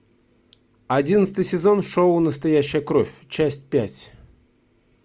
одиннадцатый сезон шоу настоящая кровь часть пять